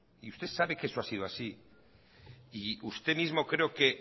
y usted sabe que eso ha sido así y usted mismo creo que